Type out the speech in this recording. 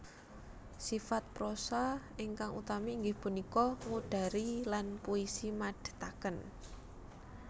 Sifat prosa ingkang utami inggih punika ngudari lan puisi madhetaken